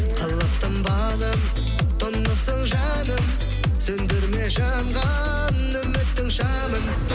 қылықтым балым тұнықсың жаным сөндірме жанған үміттің шамын